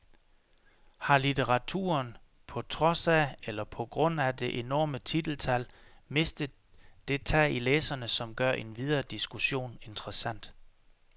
Har litteraturen, på trods af eller på grund af det enorme titeltal, mistet det tag i læserne, som gør en videre diskussion interessant?